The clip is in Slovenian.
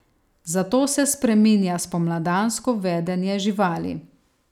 Zato se spreminja spomladansko vedenje živali.